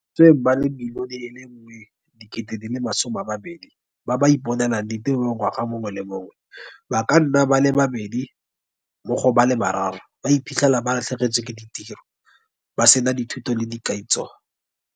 Mo bašweng ba le 1.2 milione ba ba iponelang ditiro ngwaga mongwe le mongwe, ba ka nna ba le babedi mo go ba le bararo ba iphitlhela ba latlhegetswe ke ditiro, ba sena dithuto le dikaitso.